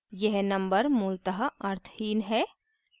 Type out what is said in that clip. यह number मूलतः अर्थहीन है